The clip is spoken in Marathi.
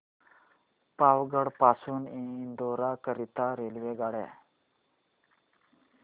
पावागढ पासून इंदोर करीता रेल्वेगाड्या